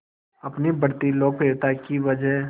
अपनी बढ़ती लोकप्रियता की वजह